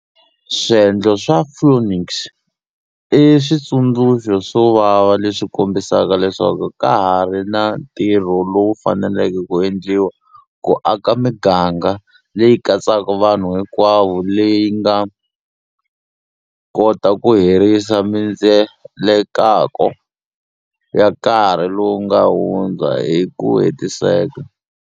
Swendlo swa Phoenix i switsundzuxo swo vava leswi kombisaka leswaku ka ha ri na ntirho lowu faneleke ku endliwa ku aka miganga leyi katsaka vanhu hinkwavo leyi nga kota ku herisa mindzelekako ya karhi lowu nga hundza hi ku hetiseka.